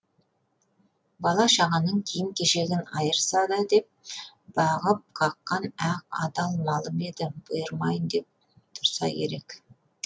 бала шағаның киім кешегін айырса да деп бағып қаққан ақ адал малым еді бұйырмайын деп тұрса керек